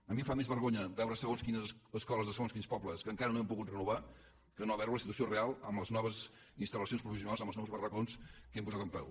a mi em fa més vergonya veure segons quines escoles de segons quins pobles que encara no hem pogut renovar que no veure la situació real amb les noves instal·lacions provisionals amb els nous bar·racons que hem posat en peu